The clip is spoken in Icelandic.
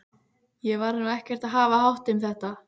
Ég var nú ekkert að hafa hátt um þetta.